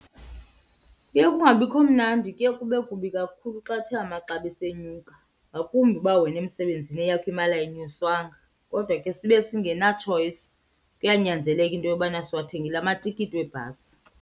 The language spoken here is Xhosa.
Kuye kungabikho mnandi, kuye kube kubi kakhulu xa athe amaxabiso enyuka ngakumbi uba wena emsebenzini eyakho imali ayinyuswanga. Kodwa ke sibe singenatshoyisi, kuyanyanzeleka into yobana siwathengile amatikiti webhasi.